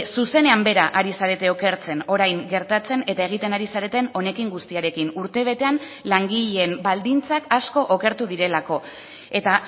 zuzenean bera ari zarete okertzen orain gertatzen eta egiten ari zareten honekin guztiarekin urtebetean langileen baldintzak asko okertu direlako eta